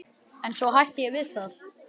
En svo hætti ég við það.